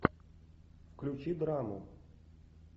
включи драму